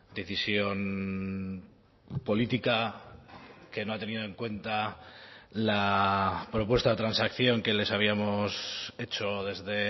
decisión política que no ha tenido en cuenta la propuesta de transacción que les habíamos hecho desde